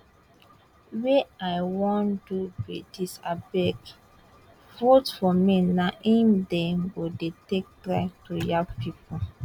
wey i wan do be dis abeg vote for me na im dem go dey take try to yab pipo